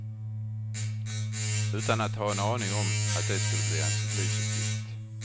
Utan att ha en aning om att det skulle bli hans livsuppgift.